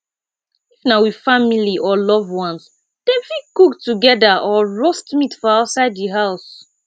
if na with family or loved one dem fit cook together or roast meat for outside di house